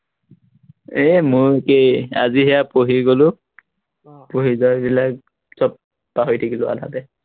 এৰ মোৰো একেই, আজি সেইয়া পঢ়ি গলো, আহ পঢ়ি যোৱাবিলাক সৱ পাহৰি থাকিলো আধাতে